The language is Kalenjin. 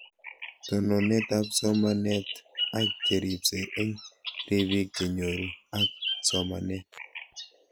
Tononet ab somanet ak cheripsei eng' rabinik che nyoru ak somanet